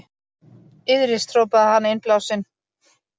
Iðrist, hrópaði hann innblásinn.